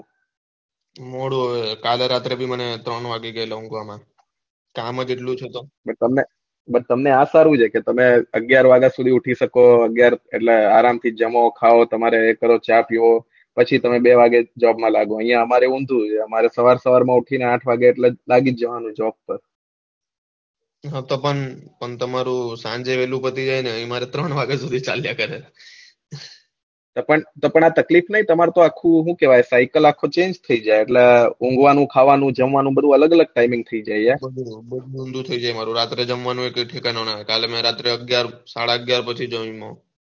તો પણ આ તકલીફ નઈ તમારું તો આખો હું કેવાઈ સાઇકલ આખું ચેન્જ જાય એટલે ઊંઘવાનું ખાવાનું જમવાનું બધું અલગ અલગ timing થઇ જાય યાર બધું બધું ઊંધું થઇ રાત્રે જમવાનું કઈ ઠેકાણું ન હોય કાલે રાત્રે મેં અગિયાર સાડા અગિયાર પછી જમું